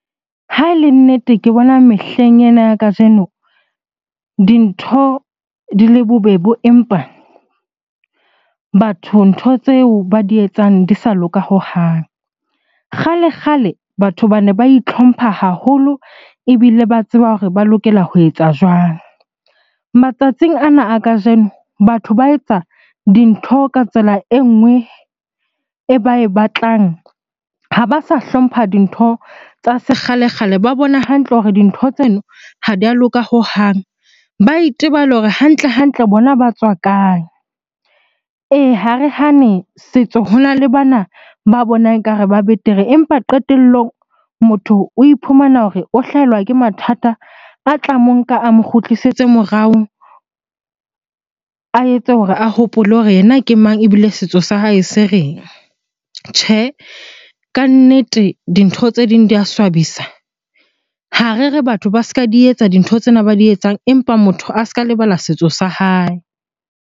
Ha e le nnete, ke bona mehleng ena ya kajeno dintho di le bobebo, empa batho ntho tseo ba di etsang di sa loka hohang. Kgale-kgale batho bane ba itlhompha haholo ebile ba tseba hore ba lokela ho etsa jwang? Matsatsing ana a kajeno batho ba etsa dintho ka tsela e nngwe e ba e batlang, ha ba sa hlompha dintho tsa sekgale-kgale. Ba bona hantle hore dintho tseno ha di a loka hohang, ba itebale hore hantle-hantle bona ba tswa kae? Ee, Ha re hane setso hona le bana ba bonang ekare ba betere empa qetellong motho o iphumana hore o hlahelwa ke mathata a tla monka a mo kgutlisetse morao, a etse hore a hopole hore yena ke mang? Ebile setso sa hae se reng? Tjhe, kannete dintho tse ding di ya swabisa. Ha re re batho ba ska di etsa dintho tsena ba di etsang, empa motho a ska lebala setso sa hae.